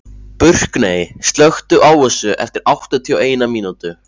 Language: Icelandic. Burkney, slökktu á þessu eftir áttatíu og eina mínútur.